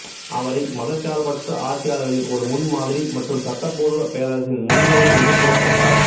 அவரை மதச்சார்பற்ற ஆட்சியாளர்களின் ஒரு முன்மாதிரி மற்றும் சட்டப்பூர்வ பேரரசின் முன்னோடி என்று கூறப்பட்டார்